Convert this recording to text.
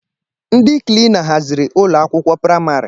Ndi kilina haziri ụlọakwụkwọ praịmarị